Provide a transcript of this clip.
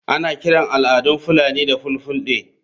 Ana kiran al'adun fulani da ''fulfulde''